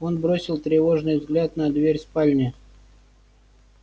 он бросил тревожный взгляд на дверь спальни